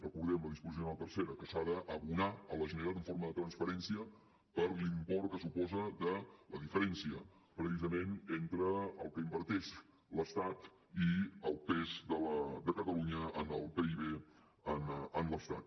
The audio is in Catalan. recordem ho la disposició addicional tercera que s’ha d’abonar a la generalitat en forma de transferència per l’import que suposa de la diferència precisament entre el que inverteix l’estat i el pes de catalunya en el pib en l’estat